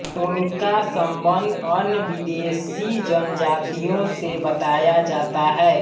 उनका सम्बंध अन्य विदेशी जनजातियों से बताया जाता है